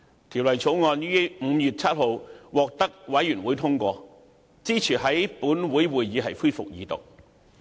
法案委員會於5月7日通過《條例草案》，支持在本會恢復二讀。